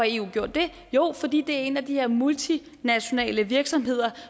eu gjort det jo fordi det er en af de her multinationale virksomheder